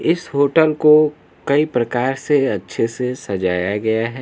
इस होटल को कई प्रकार से अच्छे से सजाया गया है।